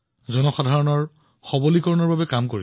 জনসাধাৰণৰ সৱলীকৰণৰ বাবে প্ৰয়াস কৰিছিল